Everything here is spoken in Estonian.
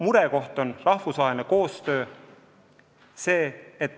Murekoht on rahvusvaheline koostöö.